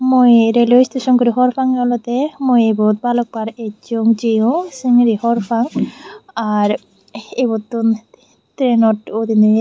mui railway station guri hwr pangey olwdey mui ibot balok bar essong jeyong sengri hwr pang ar ibettun trainot udiney.